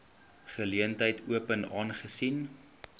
geleentheid open aangesien